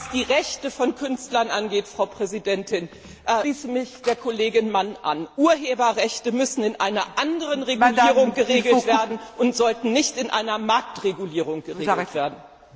Was die Rechte von Künstlern angeht, Frau Präsidentin, schließe ich mich der Kollegin Mann an Urheberrechte müssen in einer anderen Verordnung geregelt werden und sollten nicht im Zuge einer Marktregulierung geregelt werden.